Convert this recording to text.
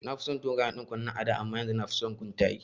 Na fi son dogayen ɗankunne a da amma yanzu nafi son guntaye